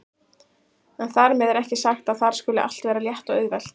En þar með er ekki sagt að þar skuli allt vera létt og auðvelt.